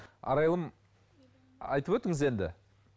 арайлым айтып өтіңіз енді